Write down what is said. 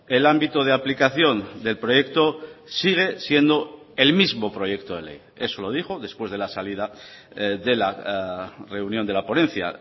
el ámbito de aplicación del proyecto sigue siendo el mismo proyecto de ley eso lo dijo después de la salida de la reunión de la ponencia